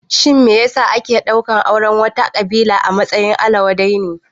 Shin me ya sa ake ɗaukan auren wata ƙabila a matsayin abin ala wadai ne?